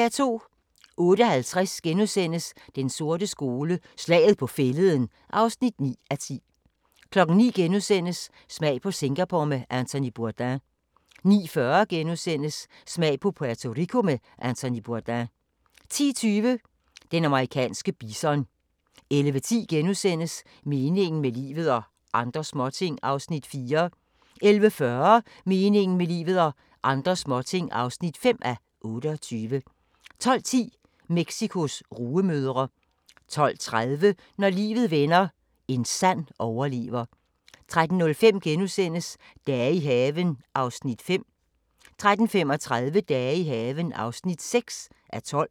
08:50: Den sorte skole: Slaget på Fælleden (9:10)* 09:00: Smag på Singapore med Anthony Bourdain * 09:40: Smag på Puerto Rico med Anthony Bourdain * 10:20: Den amerikanske bison 11:10: Meningen med livet – og andre småting (4:28)* 11:40: Meningen med livet – og andre småting (5:28) 12:10: Mexicos rugemødre 12:30: Når livet vender – en sand overlever 13:05: Dage i haven (5:12)* 13:35: Dage i haven (6:12)